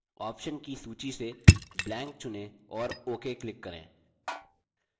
options की सूची से blank चुनें और ok click करें